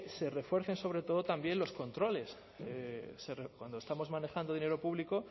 se refuercen sobre todo también los controles cuando estamos manejando dinero público